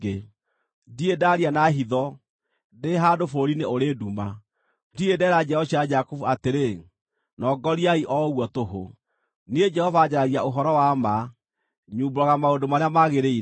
Ndirĩ ndaaria na hitho, ndĩ handũ bũrũri-inĩ ũrĩ nduma; ndirĩ ndeera njiaro cia Jakubu atĩrĩ, ‘Nongoriai o ũguo tũhũ.’ Niĩ Jehova, njaragia ũhoro wa ma; nyumbũraga maũndũ marĩa magĩrĩire.